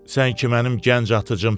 Sən ki mənim gənc atıcımssan.